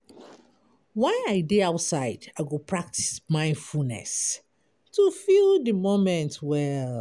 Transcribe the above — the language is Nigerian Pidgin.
While I dey outside, I go practice mindfulness to feel di moment well.